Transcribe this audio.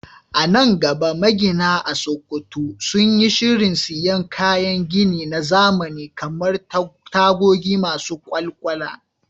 A nan gaba, magina a Sakkwato sun yi shirin siyan kayan gini na zamani kamar tagogi masu kwakwalwa